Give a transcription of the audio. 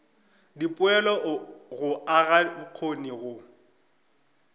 dipoelo go aga bokgoni go